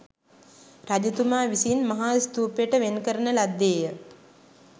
රජතුමා විසින් මහාස්ථූපයට වෙන්කරන ලද්දේ ය